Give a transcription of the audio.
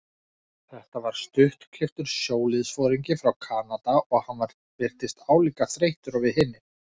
Þetta var stuttklipptur sjóliðsforingi frá Kanada og hann virtist álíka þreyttur og við hinir.